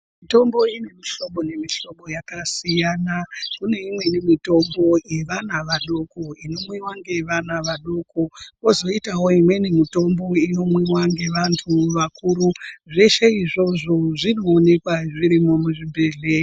Mitombo yemuhlobo nemuhlobo yakasiyana. Kuneimweni mitombo yeana adoko inomwiwa ngevantu adoko kwozoitawo imweni inomwiwa ngevantu vakuru. Zveshe izvozvo zvinoonekwa zvirimwo muzvibhedhlera.